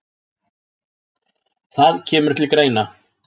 Það kemur til greina